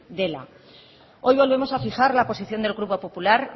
dela hoy volvemos a fijar la posición del grupo popular